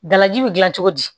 Dalaji bɛ gilan cogo di